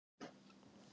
Strákurinn skaust yfir